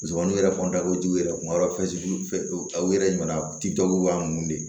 Musomaninw yɛrɛ kɔni da ko jugu yɛrɛ kuma dɔ fɛn aw yɛrɛ ɲɛna ti dɔw b'a mun de